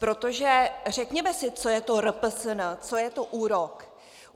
Protože řekněme si, co je to RPSN, co je to úrok.